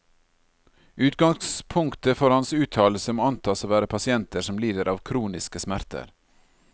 Utgangspunktet for hans uttalelse må antas å være pasienter som lider av kroniske smerter.